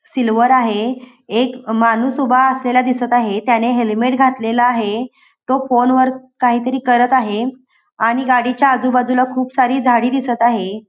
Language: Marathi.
सिल्वर आहे. एक माणूस उभा असलेला दिसत आहे. त्याने हेल्मेट घातलेल आहे. तो फोन वर काहीतरी करत आहे आणि गाडीच्या आजूबाजूला खूप सारी झाडी दिसत आहे.